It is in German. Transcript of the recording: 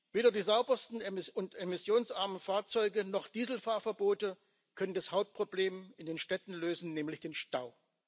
Weder die saubersten und emissionsarmen Fahrzeuge noch Diesel Fahrverbote können das Hauptproblem in den Städten lösen nämlich den Stau.